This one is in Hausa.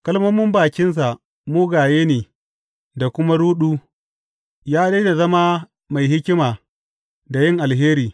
Kalmomin bakinsa mugaye ne da kuma ruɗu; ya daina zama mai hikima da yin alheri.